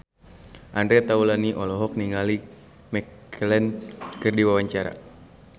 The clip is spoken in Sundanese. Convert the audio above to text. Andre Taulany olohok ningali Ian McKellen keur diwawancara